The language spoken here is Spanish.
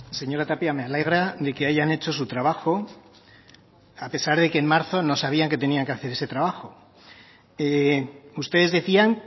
señora tapia me alegra de que hayan hecho su trabajo a pesar de que en marzo no sabían que tenían que hacer ese trabajo ustedes decían